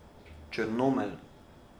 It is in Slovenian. Črnomelj.